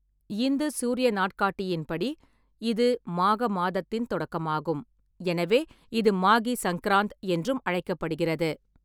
இந்து சூரிய நாட்காட்டியின்படி இது மாக மாதத்தின் தொடக்கமாகும், எனவே இது 'மாகி சங்கிராந்த்' என்றும் அழைக்கப்படுகிறது.